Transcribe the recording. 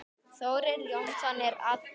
Þórir Jónsson er allur.